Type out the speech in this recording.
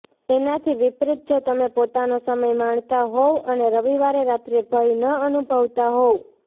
એનાથી વિપરીત જો તમે પોતાનો સમય માણતા હોવ અને રવિવારે રાત્રે ભય ન અનુભવતા હોવ